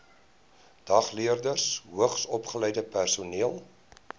dagleerders hoogsopgeleide personeel